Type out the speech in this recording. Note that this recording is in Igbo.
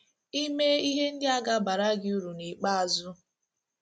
Ime ihe ndị a ga - abara gị uru n’ikpeazụ.